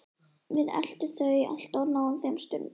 Við eltum þau alltaf og náðum þeim stundum.